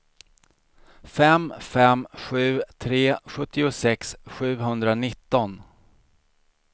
fem fem sju tre sjuttiosex sjuhundranitton